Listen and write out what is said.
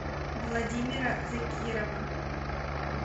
владимира закирова